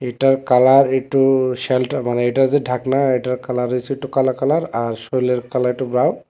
এইটার কালার একটু শেলটা মানে এইটার যে ঢাকনা এইটার কালার হইছে একটু কালা কালার আর শরীরের কালারটা ব্রাউন ।